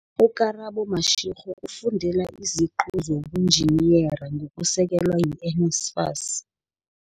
U-Karabo Mashego ufundela iziqu zobunjiniyera ngokusekelwa yi-NSFAS.